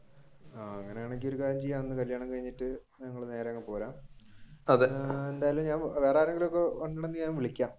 അങ്ങനെയാണെങ്കിൽ ഒരു കാര്യം ചെയ്യാം കല്യാണം കഴിഞ്ഞിട്ട് ഞങ്ങൾ നേരെ അങ്ങ് പോരാം വേറെ ആരെങ്കിലും വരുന്നുണ്ടെങ്കിൽ ഞാൻ വിളിക്കാം.